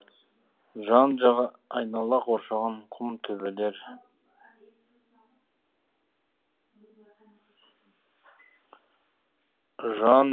жан жағы айнала қоршаған құм төбелер